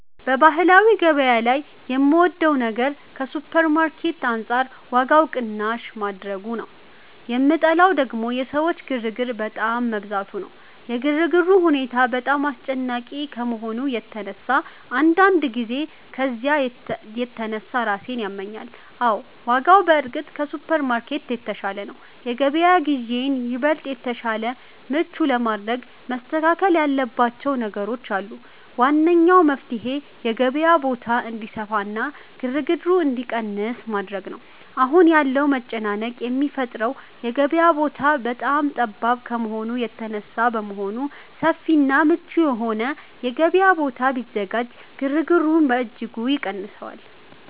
በባህላዊ ገበያ ላይ የምወደው ነገር ከሱፐርማርኬት አንጻር ዋጋው ቅናሽ ማድረጉ ነው፤ የምጠላው ደግሞ የሰዎች ግርግር በጣም መብዛቱ ነው። የግርግሩ ሁኔታ በጣም አስጨናቂ ከመሆኑ የተነሳ አንዳንድ ጊዜ ከዝያ የተነሳ ራሴን ያመኛል። አዎ፣ ዋጋው በእርግጥ ከሱፐርማርኬት የተሻለ ነው። የገበያ ግዢዬን ይበልጥ የተሻለና ምቹ ለማድረግ መስተካከል ያለባቸው ነገሮች አሉ። ዋነኛው መፍትሔ የገበያው ቦታ እንዲሰፋና ግርግሩ እንዲቀንስ ማድረግ ነው። አሁን ያለው መጨናነቅ የሚፈጠረው የገበያው ቦታ በጣም ጠባብ ከመሆኑ የተነሳ በመሆኑ፣ ሰፊና ምቹ የሆነ የገበያ ቦታ ቢዘጋጅ ግርግሩን በእጅጉ ይቀንሰዋል